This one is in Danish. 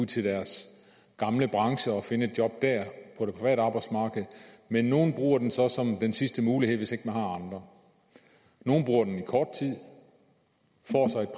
til deres gamle branche og finde et job der på det private arbejdsmarked men nogle bruger den så som den sidste mulighed hvis ikke de har andre nogle bruger den i kort tid